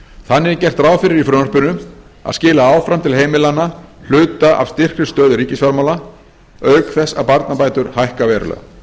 þannig er gert ráð fyrir í frumvarpinu að skila áfram til heimilanna hluta af styrkri stöðu ríkisfjármála auk þess að barnabætur hækka verulega